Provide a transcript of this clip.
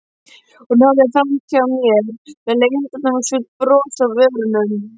Hún horfði framhjá mér með leyndardómsfullt bros á vörunum.